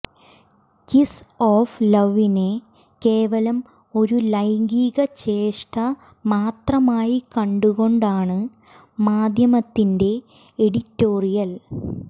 kiss of ലവിനെ കേവലം ഒരു ലൈംഗിക ചേഷ്ട മാത്രമായി കണ്ടുകൊണ്ടാണ് മാധ്യമത്തിന്റെ എഡിറ്റോറിയൽ